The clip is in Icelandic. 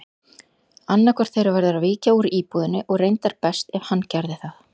Annaðhvort þeirra verður að víkja úr íbúðinni og reyndar best ef hann gerði það.